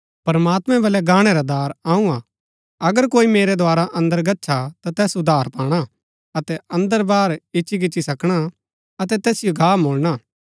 प्रमात्मैं वल्लै गाणै रा दार अऊँ हा अगर कोई मेरै द्धारा अन्दर गच्छा ता तैस उद्धार पाणा अतै अन्दर बाहर इच्ची गिच्ची सकणा अतै तैसिओ घा मुलणा